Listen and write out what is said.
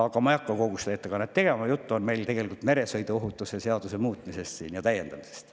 Aga ma ei hakka siin seda ettekannet tegema, jutt on tegelikult meresõiduohutuse seaduse muutmisest ja täiendamisest.